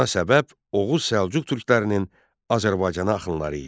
Buna səbəb Oğuz Səlcuq türklərinin Azərbaycana axınları idi.